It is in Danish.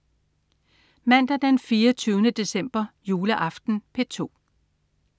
Mandag den 24. december. Juleaften - P2: